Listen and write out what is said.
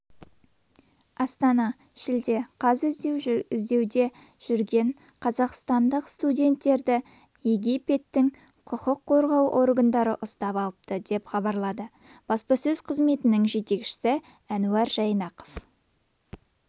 астана шілде қаз іздеуде жүрген қазақстандық студенттерді египеттің құқық қорғау органдары ұстап алыпты деп хабарлады баспасөз қызметінің жетекшісі әнуар жайнақов